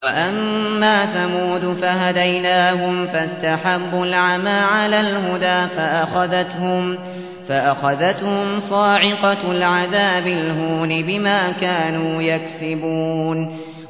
وَأَمَّا ثَمُودُ فَهَدَيْنَاهُمْ فَاسْتَحَبُّوا الْعَمَىٰ عَلَى الْهُدَىٰ فَأَخَذَتْهُمْ صَاعِقَةُ الْعَذَابِ الْهُونِ بِمَا كَانُوا يَكْسِبُونَ